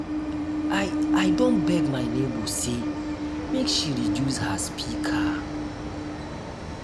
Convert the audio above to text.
i i don beg my nebor sey make she reduce her speaker.